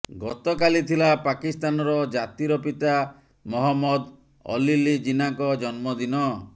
ଗତକାଲି ଥିଲା ପାକିସ୍ଥାନର ଜାତିର ପିତା ମହମ୍ମଦ ଅଲଲି ଜିନାଙ୍କ ଜନ୍ମଦିନ